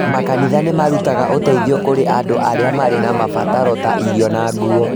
Makanitha nĩ marutaga ũteithio kũrĩ andũ arĩa marĩ na mabataro ta irio na nguo.